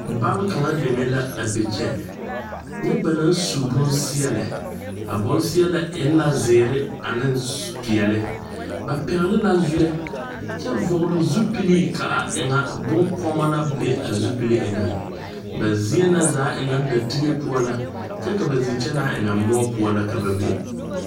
Bal kaŋa deme la a be kyɛ nyɛ ba naŋ su bonseɛɛlɛ a bonzeɛ e la zeere aneŋ peɛɛle ba pɛgle la zuɛ kyɛ vɔgle zupilee kaa eŋa bonkɔɔmɔ na bw a zupil eŋɛŋ ba zie na zaa e ŋa da tige poɔ la kyɛ ba zikyɛnaa e ŋa moɔ poɔ la ka be.